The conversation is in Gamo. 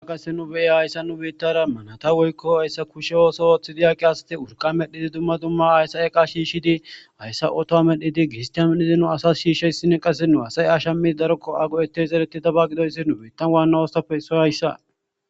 Qasse nu be'e hayssa nu beittara manata woykko hayssa kushe ooso ooththidi yaqi asati wurqa medhidi dumma dumma hayssa eqa shiishidi hayssa otoa medhdhidi giristia medhidi nu asas shiishsheyssinne qasse nu hasay asha midi darokko ago'eteyszereti daba gidoyssi nu bettan waanna oostape issoy hayssa.